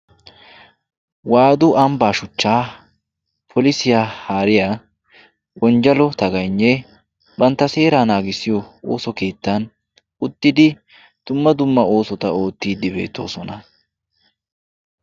Waadu ambbaa shuchchaa polisiya haariya Wonjjalo Tagayinnee bantta seeraa naagissiyo ooso keettan uttidi dumma dumma oosota oottiiddi beettoosona.